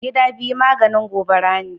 Gida biyu maganin gobara ne.